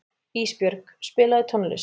Ísbjörg, spilaðu tónlist.